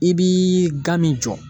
I b'i ga min jɔ.